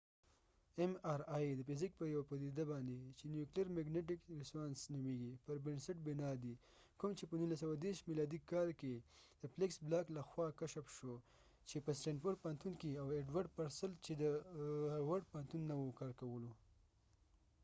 ام ار آي mriد فزیک په یو پديده باندي چې نیوکلیر مګنیټک ریسونانس neuclear magnetic resonance نومیږی پر بنسټ بنا دي ، کوم چې په 1930 میلادي کال کې د فیلکس بلاک felix blochله خوا کشف شوه چې په سټینفرډ stanfordپوهنتون کې یې کارکولواو ایډورډ پرسل چې دهاورډ harvardپوهنتون نه و